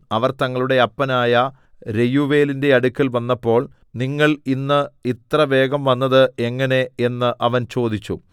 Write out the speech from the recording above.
അവർ തങ്ങളുടെ അപ്പനായ രെയൂവേലിന്റെ അടുക്കൽ വന്നപ്പോൾ നിങ്ങൾ ഇന്ന് ഇത്ര വേഗം വന്നത് എങ്ങനെ എന്ന് അവൻ ചോദിച്ചു